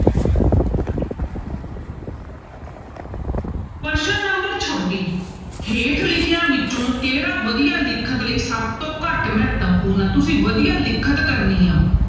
ਪ੍ਰਸ਼ਨ number ਛੱਬੀ ਹੇਠ ਲਿਖਿਆਂ ਵਿੱਚੋਂ ਕਿਹੜਾ ਵਧੀਆ ਲਿਖਣ ਲਈ ਸਭ ਤੋਂ ਘੱਟ ਮਹੱਤਵਪੂਰਨ ਆ, ਤੁਸੀਂ ਵਧੀਆ ਲਿਖਤ ਕਰਨੀ ਆ।